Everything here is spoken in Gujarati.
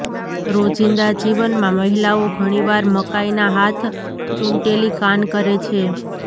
રોજિંદા જીવનમાં મહિલાઓ ઘણીવાર મકાઈ ના હાથ ચૂંટેલી કાન કરે છે